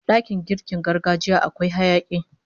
Dakin girkin gargajiya akwai hayaki